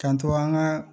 Kanto an ka